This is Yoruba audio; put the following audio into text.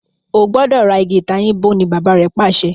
o gbọdọ rà Ìgi ìtayín bó! ní Bàbá rẹ pàṣẹ.